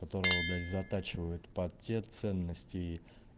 которого блять затачивают под те ценности